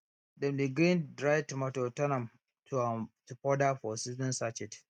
dem dey grind dry tomato turn am to am to powder for seasoning sachet